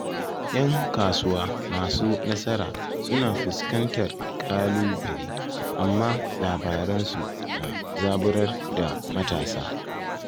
’Yan kasuwa masu nasara suna fuskantar kalubale, amma labaransu na zaburar da matasa.